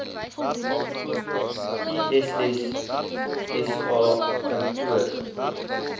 iss sa kantoor